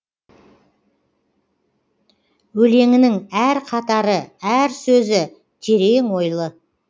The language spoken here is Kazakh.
өлеңінің әр қатары әр сөзі терең ойлы